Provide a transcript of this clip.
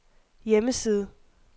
hjemmeside